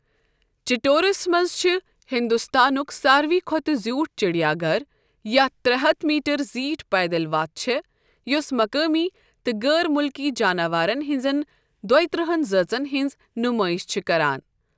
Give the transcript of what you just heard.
ِچٹورس منٛز چُھ ہنٛدوستانک سارِوٕے کھۄتہٕ زیٛوٗٹھ چِڑیا گَھر یتھ ترےٚ ہتھ میٖٹر زیٖٹھ پیدل وَتھ چھےٚ یُس مُقٲمی تہٕ غٲر مُلکی جاناوارن ہِنٛزِن دۄیِہ ترہن ذٲژن ہِنٛز نُمٲیِش چُھ کَران۔